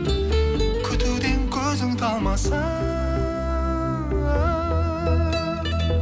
күтуден көзің талмасын